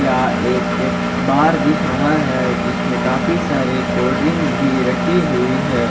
याह एक बार दिख रहा है जिसमें काफी सारी कोल्ड ड्रिंक्स भी रखी हुई है।